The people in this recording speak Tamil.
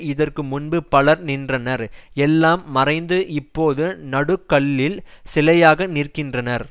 இதற்கு முன்பு பலர் நின்றனர் எல்லாம் மறைந்து இப்போது நடுகல்லில் சிலையாக நிற்கின்றனர்